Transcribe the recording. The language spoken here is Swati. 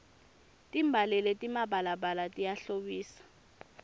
timbali letimabalabala tiyahlobisa